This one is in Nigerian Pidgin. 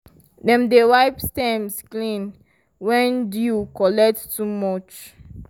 dem dey wipe stems clean when dew collect too much.